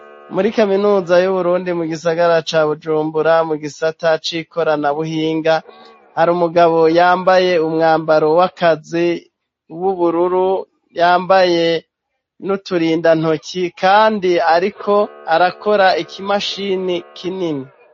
Muri kaminuza y'Uburundi mu gisagara ca Bujumbura mu gisata cikoranabuhinga hari umugabo yambaye umwambaro w'akazi w'ubururu yambaye n'uturinda ntoki kandi ariko arakora ikimashini kinini